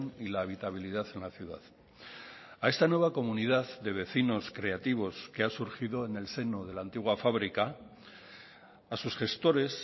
y la habitabilidad en la ciudad a esta nueva comunidad de vecinos creativos que ha surgido en el seno de la antigua fábrica a sus gestores